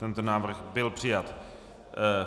Tento návrh byl přijat.